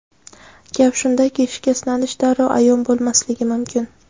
Gap shundaki, shikastlanish darrov ayon bo‘lmasligi mumkin.